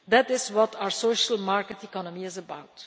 Union. That is what our social market economy is